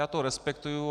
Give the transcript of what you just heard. Já to respektuji.